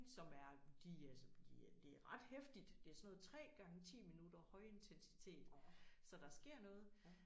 Som er de altså de er det er ret heftigt det sådan noget 3 gange 10 minutter højintensitet så der sker noget